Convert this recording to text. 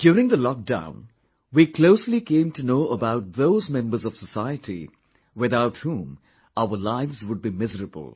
During the lockdown, we closely came to know about those members of society, without whom our lives would be miserable